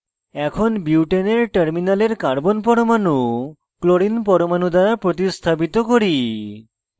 এখন বিউটেনের terminal carbon পরমাণু chlorine পরমাণু দ্বারা প্রতিস্থাপিত করি